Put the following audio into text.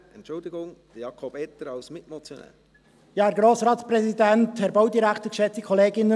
Entschuldigung, Jakob Etter hat das Wort als Mitmotionär.